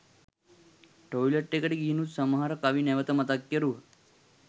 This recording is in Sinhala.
ටොයිලට් එකට ගිහිනුත් සමහර කවි නැවත මතක් කෙරුවා